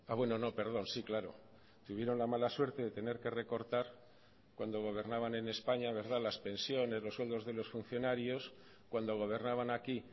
bueno no perdón sí claro tuvieron la mala suerte de tener que recortar cuando gobernaban en españa las pensiones los sueldos de los funcionarios cuando gobernaban aquí